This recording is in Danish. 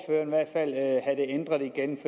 i hvert fald have det ændret igen